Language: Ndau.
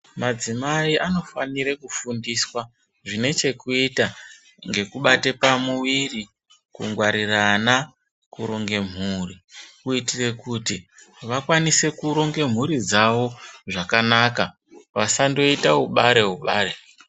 Madzimayi anofanire kufundiswa zvinechekuyita ngekubate pamuwiri, kungwarirana, kuronge mhuri, kuyitire kuti vakwanise kuronge mhuri dzawo zvakanaka, vasandoyite wubare wubare.